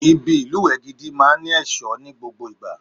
Ibi ìlùwẹ̀ gidi máa ní ẹ̀ṣọ́ ni gbogbo ìgbà.